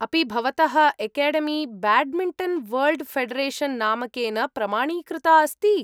अपि भवतः academy badminton world federation नामकेन् प्रमाणीकृता अस्ति?